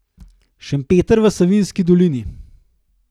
Šempeter v Savinjski dolini.